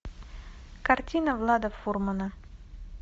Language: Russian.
картина влада фурмана